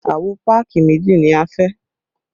Àwo páàkì méjì ni a fẹ́